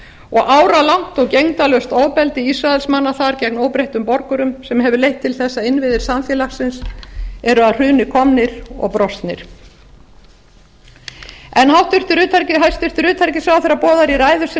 og áralangt og gegndarlaust ofbeldi ísraelsmanna þar gegn óbreyttum borgurum sem hefur leitt til þess að innviðir samfélagsins eru að hruni komnir og brostnir hæstvirts utanríkisráðherra boðar í ræðu sinni